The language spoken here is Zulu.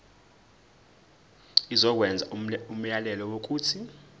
izokwenza umyalelo wokuthi